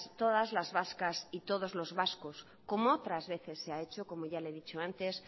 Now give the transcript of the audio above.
todas las vascas y todos los vascos como otras veces se ha hecho como ya le he dicho antes